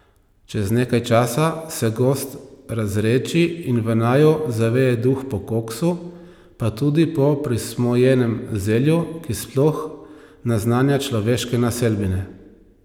Čez nekaj časa se gozd razredči in v naju zaveje duh po koksu, pa tudi po prismojenem zelju, ki sploh naznanja človeške naselbine.